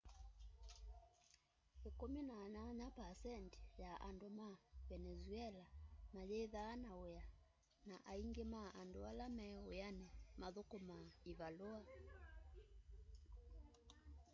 18% ya andu ma venezuela mayithaa na wia na aingi ma andu ala me wiani muthukumaa ivalua